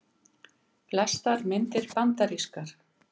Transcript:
Flestar myndir bandarískar